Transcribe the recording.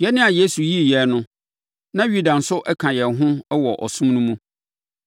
Yɛn a Yesu yii yɛn no, na Yuda nso ka yɛn ho wɔ ɔsom no mu.